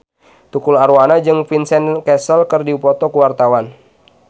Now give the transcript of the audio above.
Tukul Arwana jeung Vincent Cassel keur dipoto ku wartawan